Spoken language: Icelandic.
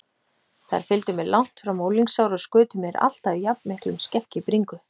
Þær fylgdu mér langt fram á unglingsár og skutu mér alltaf jafnmiklum skelk í bringu.